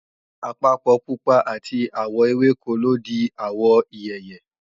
àpapọ̀ pupa àti àwọ̀ ewéko ló di àwọ̀ ìyèyè